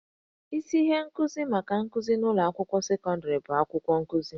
Isi ihe nkuzi maka nkuzi n'ụlọ akwụkwọ sekọndịrị bụ akwụkwọ nkuzi